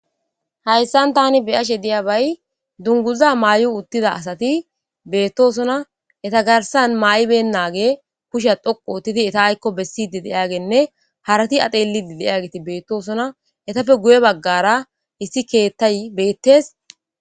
Hayssan tani beyashe diyabay dunguza mayida asati beetosonna eetta garssan mayibenagey kushshe dhoqqu oottidii eetta aykko bessidi diyageynne hara a xellidii diyagetti bettossonna eettappe guye baggara issi keettey bettes